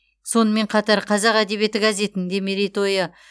сонымен қатар қазақ әдебиеті газетінің де мерейтойы